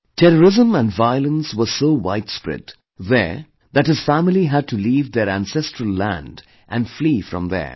Terrorism and violence were so widespread there that his family had to leave their ancestral land and flee from there